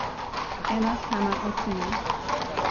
Ena sama ocena.